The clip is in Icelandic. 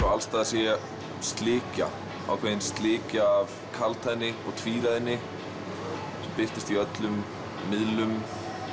alls staðar sé ég slikja ákveðin slikja af kaldhæðni og tvíræðni birtist í öllum miðlum